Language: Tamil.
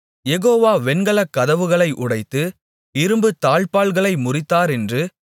யெகோவா வெண்கலக் கதவுகளை உடைத்து இரும்புத் தாழ்ப்பாள்களை முறித்தாரென்று